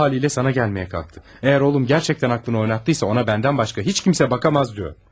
O halı ilə sana gəlməyə qalxdı, əgər oğlum gərçəkdən aklını oynatdıysa, ona məndən başqa heç kimsə bakamaz diyor.